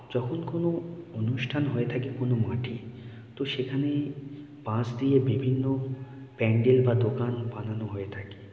যখন কোনো অনুষ্ঠান হয়ে থাকে কোন মাঠে তো সেখানে বাঁশ দিয়ে বিভিন্ন প্যান্ডেল বা দোকান বানানো হয়ে থাকে।